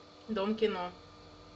дом кино